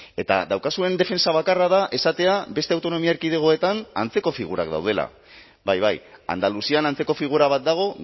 eta daukazuen defentsa bakarra da esatea beste autonomia erkidegoetan antzeko figurak daudela bai bai andaluzian antzeko figura bat dago